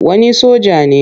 Wani soja ne.